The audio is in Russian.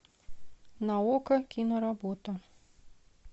на окко киноработа